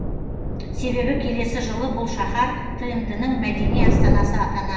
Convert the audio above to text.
себебі келесі жылы бұл шаһар тмд ның мәдени астанасы атанады